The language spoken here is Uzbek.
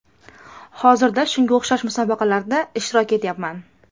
Hozirda shunga o‘xshash musobaqalarda ishtirok etyapman.